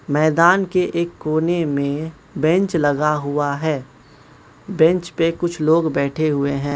मैदान के एक कोने में बेंच लगा हुआ है बेंच पे कुछ लोग बैठे हुए हैं।